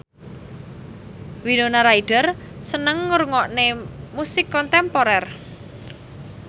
Winona Ryder seneng ngrungokne musik kontemporer